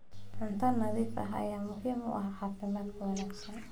Cunto nadiif ah ayaa muhiim u ah caafimaadka wanaagsan.